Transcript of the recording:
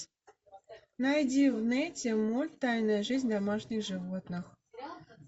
найди в нете мульт тайная жизнь домашних животных